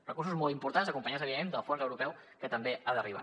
recursos molt importants acompanyats evidentment del fons europeu que també ha d’arribar